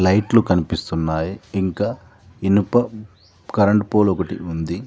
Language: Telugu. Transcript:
లైట్లు కనిపిస్తున్నాయి ఇంకా ఇనుప కరెంటు పోల్ ఒకటి ఉంది.